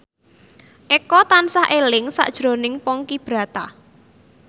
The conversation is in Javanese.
Eko tansah eling sakjroning Ponky Brata